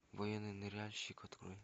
военный ныряльщик открой